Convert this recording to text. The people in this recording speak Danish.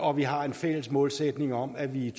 og vi har en fælles målsætning om at vi i